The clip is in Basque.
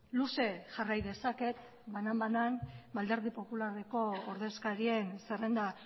luze jarrai dezaket banan banan alderdi popularreko ordezkarien zerrenda